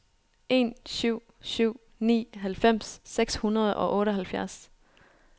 en syv syv ni halvfems seks hundrede og otteoghalvfjerds